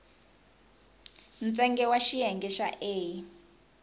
ntsengo wa xiyenge xa a